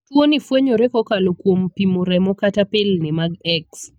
Tuo ni fwenyore kokalo kuom pimo remo kata pilni mag X.